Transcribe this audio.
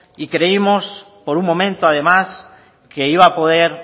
y creíamos por un momento además que iba a poder